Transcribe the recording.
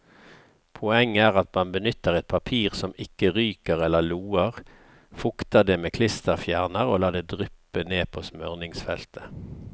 Poenget er at man benytter et papir som ikke ryker eller loer, fukter det med klisterfjerner og lar det dryppe ned på smøringsfeltet.